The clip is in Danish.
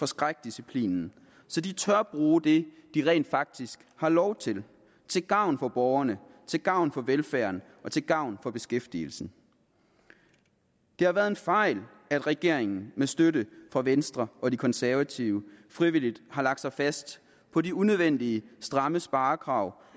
skrækdisciplinen så de tør bruge det de rent faktisk har lov til til gavn for borgerne til gavn for velfærden og til gavn for beskæftigelsen det har været en fejl at regeringen med støtte fra venstre og de konservative frivilligt har lagt sig fast på de unødvendig stramme sparekrav